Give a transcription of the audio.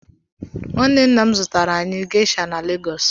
Nwanne nna m zụtaara anyị geisha na Legọs.